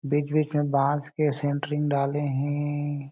बीच-बीच में बास के सेंट्रिंग डाले हें।